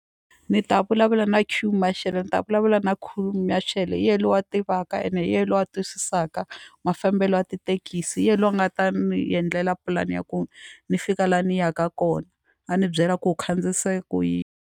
Ni ta vulavula na queue marshal ni ta vulavula na queue marshal hi yena loyi a tivaka ene hi yena loyi a twisisaka mafambelo ya tithekisi hi yena loyi a nga ta ni endlela pulani ya ku ni fika laha ni yaka kona a ni byela ku u khandziyisa ku yini.